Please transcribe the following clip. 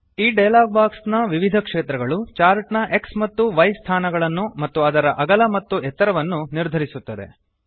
ಈ dialog box ನ ವಿವಿಧ ಕ್ಷೇತ್ರಗಳು ಚಾರ್ಟ್ ನ X ಮತ್ತು Y ಸ್ಥಾನಗಳನ್ನು ಮತ್ತು ಅದರ ಅಗಲ ಮತ್ತು ಎತ್ತರವನ್ನು ನಿರ್ಧರಿಸುತ್ತವೆ